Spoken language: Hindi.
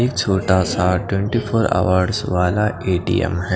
ये एक छोटा सा ट्वेंटी फोर ऑवर वाला ए_टी _ऍम हैं।